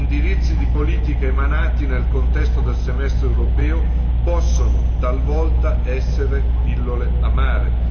Gli indirizzi di politica emanati nel contesto del semestre europeo possono talvolta essere pillole amare.